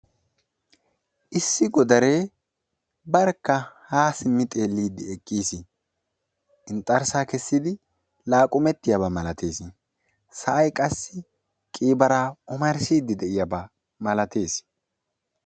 Issi godaree barkka ha simmi xeelliiddi eqqiis. Inxxarssaa kessidi laaqumettiyaba malatees. Sa'ay qassi qiibaraa omarssiiddi de'iyabaa malateess.